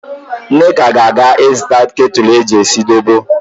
Nneka ga-aga ịzụta ketụlụ eji esi zobo.